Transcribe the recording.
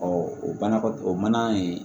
o banakɔtaa o mana in